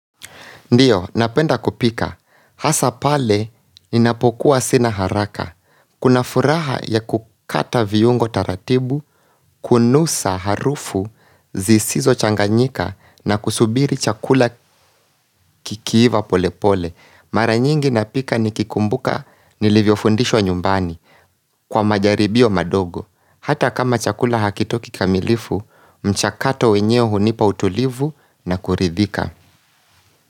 Ndiyo, napenda kupika. Hasapale, ninapokuwa sina haraka. Kuna furaha ya kukata viungo taratibu, kunusa harufu, zisizo changanyika na kusubiri chakula kikiiva pole pole. Maranyingi napika ni kikumbuka nilivyo fundishwa nyumbani kwa majaribio madogo. Hata kama chakula hakitoki kamilifu, mchakato wenyewe hunipa utulivu na kuridhika.